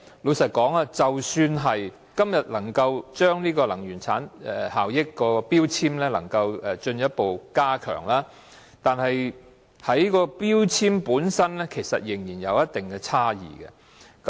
老實說，即使今天能夠進一步擴大強制性標籤計劃的範圍，同一標籤的產品的能源效益仍然有一定差異。